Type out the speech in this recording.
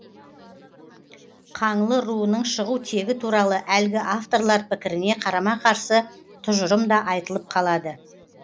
қаңлы руының шығу тегі туралы әлгі авторлар пікіріне қарама қарсы тұжырым да айтылып қалады